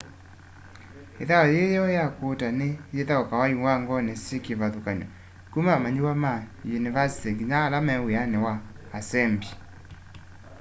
ithau yii yeu ya kuuta ni yithaukawa iwangoni syi kivathukanyo kuma amanyiwa ma yunivasĩtĩ nginya ala me wiani na asembi